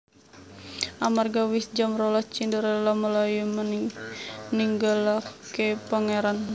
Amarga wis jam rolas Cinderella mlayu ninggalaké pangèran